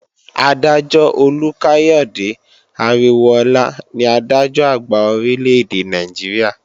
Adájọ́ Olúkáyàde Aríwóọlá ní Adájọ́-Àgbà Orílè-èdè Nàìjíríà